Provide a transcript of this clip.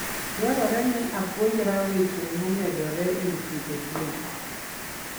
Dwarore ni apuonjra weche momedore e wi pidho gwen.